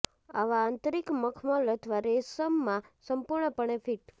આવા આંતરિક મખમલ અથવા રેશમ માં સંપૂર્ણપણે ફિટ